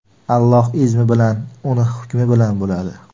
Allohni izmi bilan, uni hukmi bilan bo‘ladi.